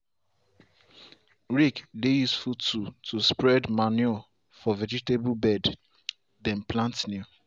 rake dey useful tool to spread manure for vegetable bed dem plant new.